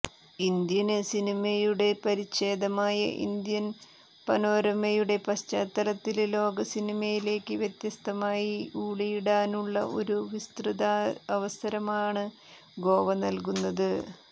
Indian സിനിമയുടെ പരിഛേദമായ Indian പനോരമയുടെ പശ്ചാത്തലത്തില് ലോക സിനിമയിലേക്ക് വ്യത്യസ്തമായി ഊളിയിടാനുള്ള ഒരു വിസതൃതാവസരമാണ് ഗോവ നല്കുന്നത്